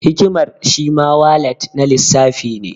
Hikimar shi ma walat na lissafi ne.